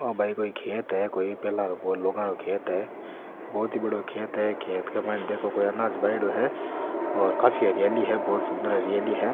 ओ भाई कोई खेत है कोई पहला को लोगा रो खेत है बहोत ही बड़ाे खेत है खेत के माइन देखो कोई अनाज भायोडो है और काफी हरियाली है बहोत सुन्दर हरियाली है।